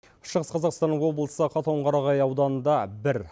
шығыс қазақстан облысы қатонқарағай ауданында бір